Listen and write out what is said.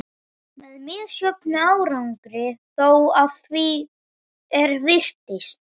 Með misjöfnum árangri þó, að því er virtist.